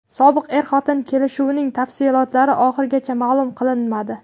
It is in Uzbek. Sobiq er-xotin kelishuvining tafsilotlari oxirigacha ma’lum qilinmadi.